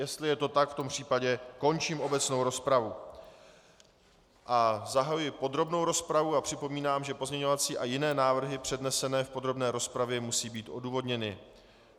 Jestli je to tak, v tom případě končím obecnou rozpravu a zahajuji podrobnou rozpravu a připomínám, že pozměňovací a jiné návrhy přednesené v podrobné rozpravě musí být odůvodněny.